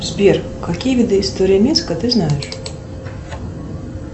сбер какие виды истории минска ты знаешь